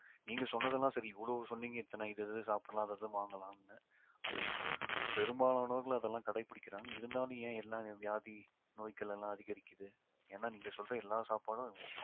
நீங்க சொன்னதெல்லாம் சரி இவ்வளவு சொன்னீங்க இத்தனை இது சாப்பிடலாம் அது இதுன்னு வாங்கலாம்னு அது பெரும்பாலானவர்கள் அதெல்லாம் கடைபிடிக்கிறாங்க இருந்தாலும் ஏன் எல்லாம் வியாதி நோய்க்கள் எல்லாம் அதிகரிக்குது ஏன்னா நீங்க சொல்ற எல்லா சாப்பாடும்